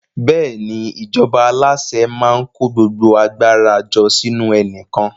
Bẹ́ẹ̀ni, ìjọba alase maa ko gbogbo agbara jo sinu enikan